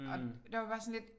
Og der var vi bare sådan lidt